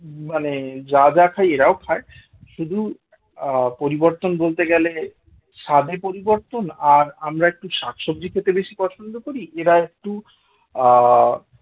মানে যা যা খাই এরাও খায় শুধু আহ পরিবর্তন বলতে গেলে স্বাদের পরিবর্তন আর আমরা একটু শাকসবজি খেতে বেশি পছন্দ করি এরা একটু আ